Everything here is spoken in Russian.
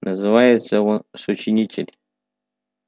называется он сочинитель